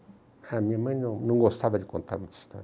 A minha mãe não não gostava de contar muitas histórias.